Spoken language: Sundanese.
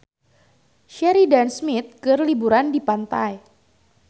Sheridan Smith keur liburan di pantai